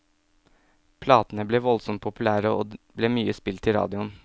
Platene ble voldsomt populære, og ble mye spilt i radioen.